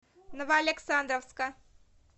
новоалександровска